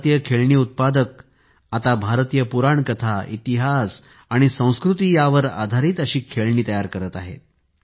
भारतीय खेळणी उत्पादक आता भारतीय पुराणकथा इतिहास आणि संस्कृती यांवर आधारित खेळणी तयार करत आहेत